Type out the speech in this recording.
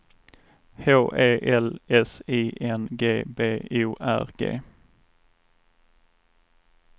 H E L S I N G B O R G